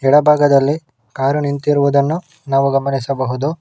ಎಡಬಾಗದಲ್ಲಿ car ನಿಂತಿರುವುದನ್ನ ನಾವು ಗಮನಿಸಬಹುದು.